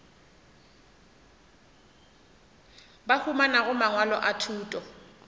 ba humanago mangwalo a thuto